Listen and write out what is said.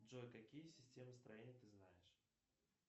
джой какие системы строения ты знаешь